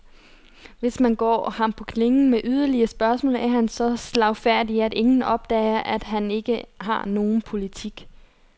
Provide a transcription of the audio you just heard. Hvis man går ham på klingen med yderligere spørgsmål, er han så slagfærdig, at ingen opdager, at han ikke har nogen politik.